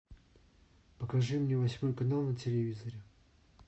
покажи мне восьмой канал на телевизоре